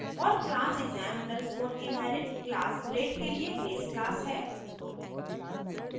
और class exam _ inherit class grade के लिए base class है